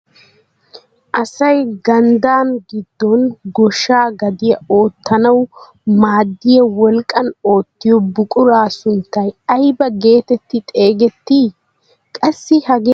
Asay ganddaa giddon gooshsha gadiyaa oottanawu maaddiyaa wolqqaan oottiyoo buquraa sunttay ayba getetti xegettii? Qassi hagee giyaan issoy woysu biraa ekkii?